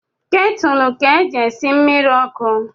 Ketulu ka e ji esi mmiri ọkụ